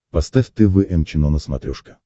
поставь тэ вэ эм чено на смотрешке